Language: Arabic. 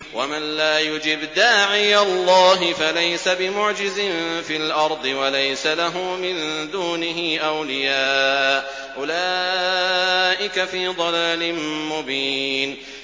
وَمَن لَّا يُجِبْ دَاعِيَ اللَّهِ فَلَيْسَ بِمُعْجِزٍ فِي الْأَرْضِ وَلَيْسَ لَهُ مِن دُونِهِ أَوْلِيَاءُ ۚ أُولَٰئِكَ فِي ضَلَالٍ مُّبِينٍ